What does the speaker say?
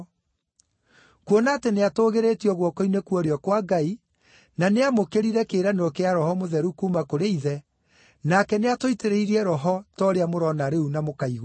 Kuona atĩ nĩatũũgĩrĩtio guoko-inĩ kwa ũrĩo kwa Ngai, na nĩamũkĩrire kĩĩranĩro kĩa Roho Mũtheru kuuma kũrĩ Ithe, nake nĩatũitĩrĩirie Roho ta ũrĩa mũrona rĩu na mũkaigua.